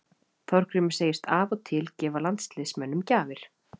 Þorgrímur segist af og til gefa landsliðsmönnum gjafir.